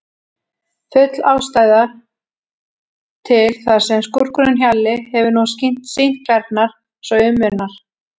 Full ástæða til, þar sem skúrkurinn Hjalli hefur nú sýnt klærnar svo um munar.